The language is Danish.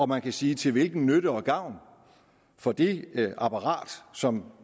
man kan sige til hvilken nytte og gavn for det apparat som